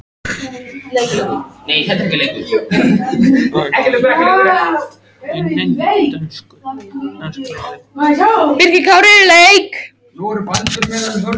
Hann þarf líka að skrifa stutta ritgerð fyrir morgundaginn.